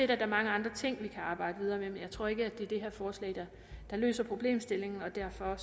der er mange andre ting vi kan arbejde videre med og jeg tror ikke det her forslag løser problemstillingen derfor